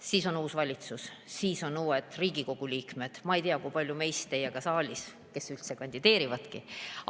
Siis on uus valitsus, siis on uued Riigikogu liikmed, ma ei tea, kui paljud meist on siis saalis või kes üldse kandideerivadki.